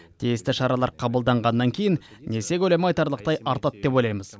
тиісті шаралар қабылдағаннан кейін несие көлемі айтарлықтай артады деп ойлаймыз